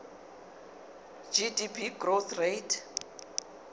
gdp growth rate